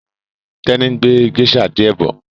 Teni ngbé geisha diẹ bó